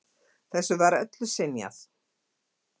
Þessu var öllu synjað.